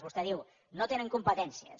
vostè diu no tenen competències